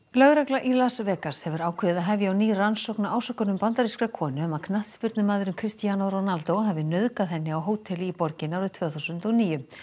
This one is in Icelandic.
lögregla í Las Vegas hefur ákveðið að hefja á ný rannsókn á ásökunum bandarískrar konu um að knattspyrnumaðurinn Cristiano Ronaldo hafi nauðgað henni á hóteli í borginni árið tvö þúsund og níu